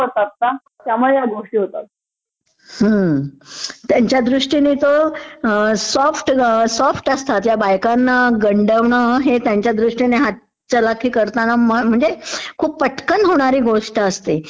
हम्म...त्यांच्या दृष्टीनी तो सॉफ्ट...सॉफ्ट असतात.. ह्या बायकांना गंडवणं हे त्यांच्या दृष्टीने हातचलाकी करताना म्हणजे खूप पटकन होणारी गोष्ट असते,